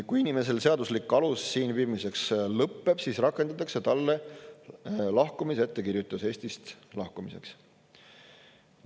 Kui inimesel seaduslik alus siin viibimiseks lõpeb, siis rakendatakse talle lahkumisettekirjutus Eestist lahkumiseks.